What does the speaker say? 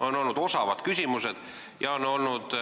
On olnud osavad küsimused ja on olnud